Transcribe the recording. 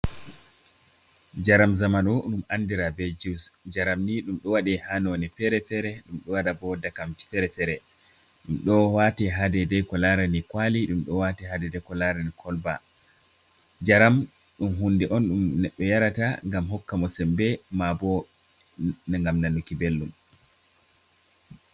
Njaram zamanu ɗum andira be juice. Njaram ni ɗum ɗo waɗe ha none fere-fere. Ɗum ɗo waɗa bo ndakam fere-fere, ɗum ɗo wate ha dede ko larani kwali, ɗum do wate ha dede ko larani kolba. Njaram ɗum hunde on ɗum neɗɗo yarata ngam hokka mo sembe. Ma bo, ngam nanuki belɗum.